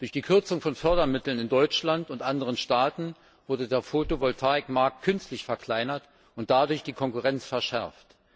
Durch die Kürzung von Fördermitteln in Deutschland und anderen Staaten wurde der Fotovoltaikmarkt künstlich verkleinert und dadurch die Konkurrenz verschärft.